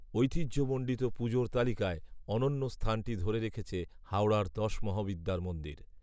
ঐতিহ্য মণ্ডিত পুজোর তালিকায় অনন্য স্থানটি ধরে রেখেছে হাওড়ার দশমহাবিদ্যার মন্দির